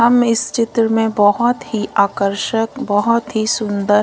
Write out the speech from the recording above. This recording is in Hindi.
हम इस चित्र में बहोत ही आकर्षक बहोत ही सुन्दर--